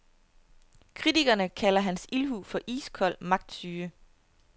Kritikerne kalder hans ildhu for iskold magtsyge.